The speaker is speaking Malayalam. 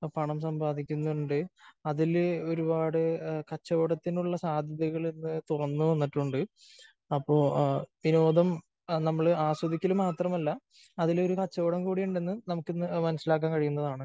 പണം സമ്പാദിക്കുന്നുണ്ട്. അതില് ഒരുപാട് കച്ചവടത്തിനുള്ള സാധ്യതകള് ഇന്ന് തുറന്നുവന്നിട്ടുണ്ട് . അപ്പോ വിനോദം നമ്മള് ആസ്വദിക്കല് മാത്രമല്ല. അതിലൊരു കച്ചവടം കൂടിയുണ്ടെന്ന് നമുക്കിന്ന് മനസ്സിലാക്കാൻ കഴിയുന്നതാണ്.